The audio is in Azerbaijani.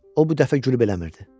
O bu dəfə gülüb eləmirdi.